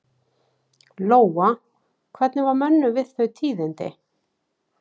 Lóa: Hvernig var mönnum við þau tíðindi?